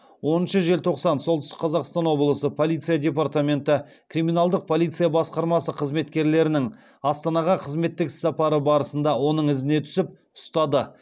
оныншы желтоқсан солтүстік қазақстан облысы полиция департаменті криминалдық полиция басқармасы қызметкерлерінің астанаға қызметтік іссапары барысында оның ізіне түсіп ұстады